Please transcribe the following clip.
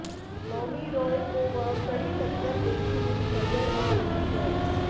मौनी रॅाय को वह कड़ी टक्कर देती हुई नजर आ रही हैं